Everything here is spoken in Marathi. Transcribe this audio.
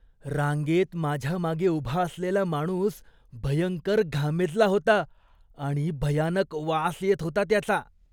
रांगेत माझ्या मागे उभा असलेला माणूस भयंकर घामेजला होता आणि भयानक वास येत होता त्याचा.